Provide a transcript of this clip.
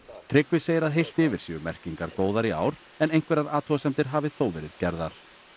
Tryggvi segir að heilt yfir séu merkingar góðar í ár en einhverjar athugasemdir hafi þó verið gerðar